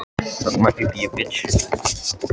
Henni finnst nú allt vera óhollt sagði Magga hneyksluð.